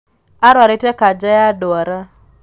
Arwarĩte kanja ya ndwara